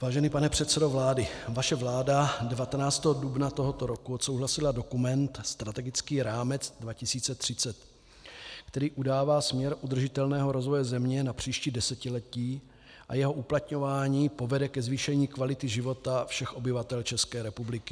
Vážený pane předsedo vlády, vaše vláda 19. dubna tohoto roku odsouhlasila dokument strategický rámec 2030, který udává směr udržitelného rozvoje země na příští desetiletí, a jeho uplatňování povede ke zvýšení kvality života všech obyvatel České republiky.